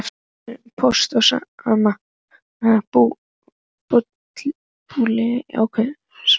Hættu þessu Póst og Síma bulli kveinaði Áslaug.